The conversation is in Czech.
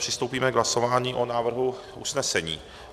Přistoupíme k hlasování o návrhu usnesení.